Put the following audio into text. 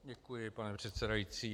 Děkuji, pane předsedající.